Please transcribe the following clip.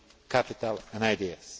capital and ideas.